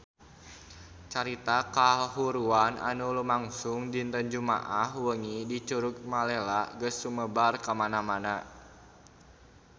Carita kahuruan anu lumangsung dinten Jumaah wengi di Curug Malela geus sumebar kamana-mana